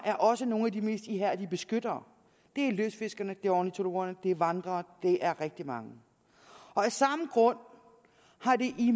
er også nogle af de mest ihærdige beskyttere det er lystfiskerne det er ornitologerne det er vandrerne det er rigtig mange af samme grund har det